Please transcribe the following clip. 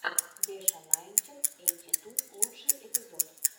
беша найнтин эйти ту лучший эпизод